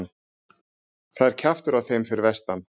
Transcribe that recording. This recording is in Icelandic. Það er kjaftur á þeim fyrir vestan.